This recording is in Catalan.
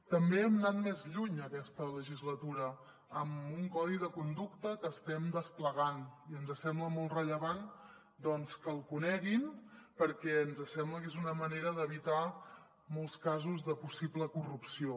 també hem anat més lluny aquesta legislatura amb un codi de conducta que estem desplegant i ens sembla molt rellevant doncs que el coneguin perquè ens sembla que és una manera d’evitar molts casos de possible corrupció